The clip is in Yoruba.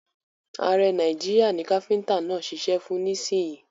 Ààrẹ Nàìjíríà ni káfíntà náà ṣiṣẹ́ fún nísìyìí.